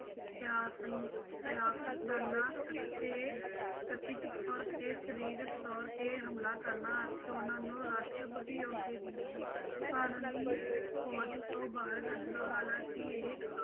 ਸਿਆਸਤਦਾਨਾਂ ਅਤੇ ਕਥਿੱਤ ਤੌਰ ਤੇ ਸਰੀਰਕ ਤੌਰ ਤੇ ਹਮਲਾ ਕਰਨਾ ਅਤੇ ਉਹਨਾਂ ਨੂੰ ਰਾਸ਼ਟਰਪਤੀ ਆਹੁਦੇ ਦੀ ਕਾਨੂੰਨੀ ਪੌੜੀ ਤੋਂ ਬਾਹਰ ਕੱਢਣ, ਹਾਲਾਂਕਿ ਇਹ